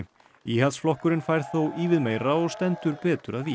íhaldsflokkurinn fær þó ívið meira og stendur betur að vígi